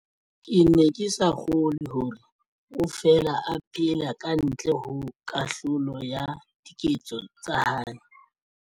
Ke ne ke sa kgolwe hore o fela a phela ka ntle ho kahlolo ya diketso tsa hae.